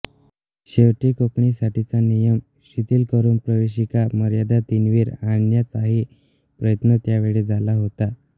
शेवटी कोकणीसाठीचा नियम शिथिल करून प्रवेशिका मर्यादा तीनवर आणण्याचाही प्रयत्न त्यावेळी झाला होता